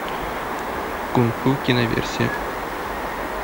кунг фу киноверсия